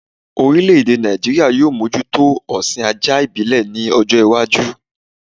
Orílẹ̀-èdè Nàìjíríà yóò mójútó ọ̀sìn ajá ìbílẹ̀ ní ọjọ́-iwájú.